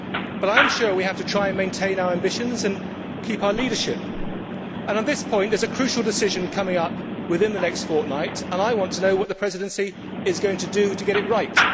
But I am sure we have to try to maintain our ambitions and keep our leadership, and on this point there is a crucial decision coming up within the next fortnight and I want to know what the Presidency is going to do to get it right.